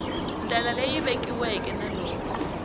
ndlela leyi vekiweke na loko